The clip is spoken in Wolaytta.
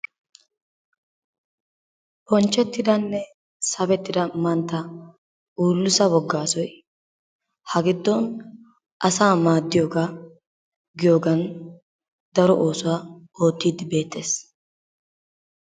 Bonchchettidanne sabettida mantta Ooliso Woggaasoy ha giddon asaa maaddiyogaa giyogan daro oosuwa oottiiddi beettees.